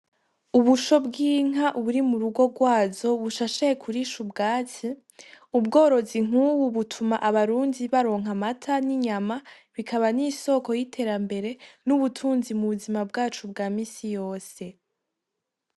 Ubusho bw'inka buri murugo rwazo bushashaye kurisha ubwatsi, ubworozi nk'ubu butuma abarundi baronk'amata, n'inyama bikaba n'isoko y'iterambere n'ubutunzi m'ubuzima bwacu bwa misi yose.